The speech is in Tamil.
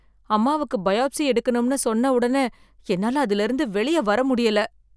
அம்மாவுக்கு பயாப்சி எடுக்கணும்னு சொன்ன உடனே என்னால் அதிலிருந்து வெளியே வர முடியல.